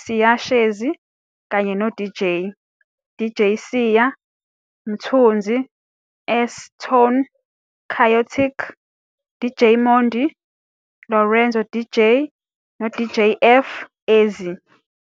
Siya Shezi kanye noDJ, DJ Cya, Mthunzi, S-Tone, Kyotic, DJ Mondy, Lorenzo DJ noDJ F-Eazy.